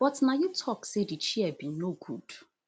but na you tok say di chair bin no good